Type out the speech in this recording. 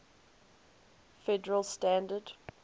federal standard